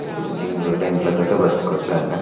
ఈ బిల్డింగ్ రెంట్ల ల తోటి బతకవచ్చు ఆయన